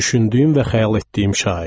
Düşündüyüm və xəyal etdiyim şair.